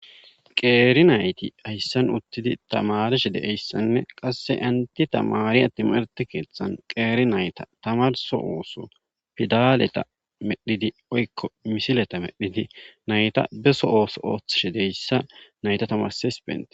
qeeri nayti hayssan uttidi tamarishe de7eyssanne qasse anti tamari attimo erte keeththan qeeri nayta tamarso ooso fidaleta medhidi oykko misileta medhidi nayta beso ooso ooththishe deyssa nayta tamarsespente